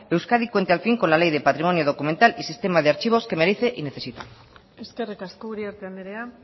euskadi cuente al fin con la ley de patrimonio documental y sistema de archivos que merece y necesita eskerrik asko uriarte andrea